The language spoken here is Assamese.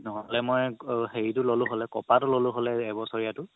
নহ'লে মই হেৰিতো ল'লো হ'লে কপাৰতো ল'লো হ'লে এবছৰীয়াতো